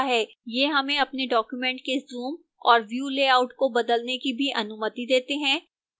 ये हमें अपने document के zoom और view लेआउट को बदलने की भी अनुमति देते हैं